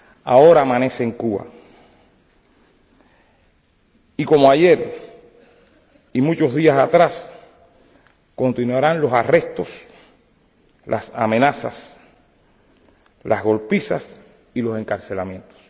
Ahora amanece en Cuba y, como ayer y muchos días atrás, continuarán los arrestos, las amenazas, las golpizas y los encarcelamientos.